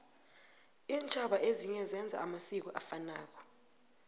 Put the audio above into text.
intjhaba ezinye zenza amasiko afanako